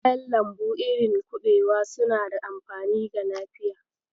Kayan lambu irin kuɓewa suna da amfani ga lafiya.